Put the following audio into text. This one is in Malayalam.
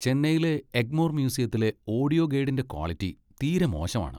ചെന്നൈയിലെ എഗ്മോർ മ്യൂസിയത്തിലെ ഓഡിയോ ഗൈഡിന്റെ ക്വാളിറ്റി തീരെ മോശമാണ്.